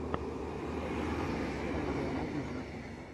у тебя есть би би си радио один